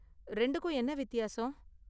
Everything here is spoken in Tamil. ரெண்டுக்கும் என்ன வித்தியாசம்?